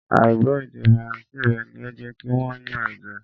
À ì gbọ́ èdè Faransé rẹ ni ó jẹ́ kí wọ́n yàn án jẹ